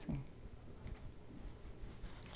Sim.